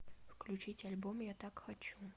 включить альбом я так хочу